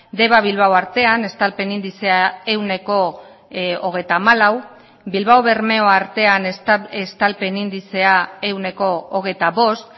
deba bilbao artean estalpen indizea ehuneko hogeita hamalau bilbao bermeo artean estalpen indizea ehuneko hogeita bost